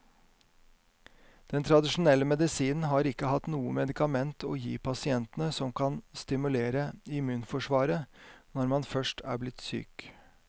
Den tradisjonelle medisinen har ikke hatt noe medikament å gi pasientene som kan stimulere immunforsvaret når man først er blitt syk.